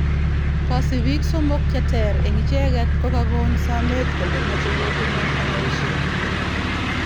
kasipiik somok cheter en icheget kogagon sameet kole mache ko tunon aeshee